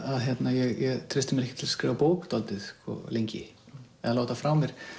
ég treysti mér ekki til að skrifa bók dálítið lengi eða láta frá mér